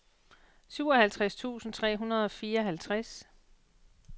syvoghalvtreds tusind tre hundrede og fireoghalvtreds